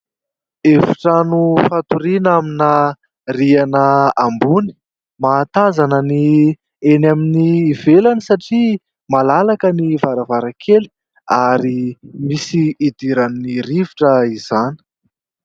Efitrano fatoriana amina rihana ambony. Mahatazana ny eny amin'ny ivelany satria malalaka ny varavarankely ary misy idiran'ny rivotra izany.